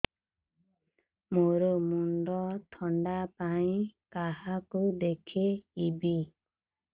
ମୋର ମୁଣ୍ଡ ବ୍ୟଥା ପାଇଁ କାହାକୁ ଦେଖେଇବି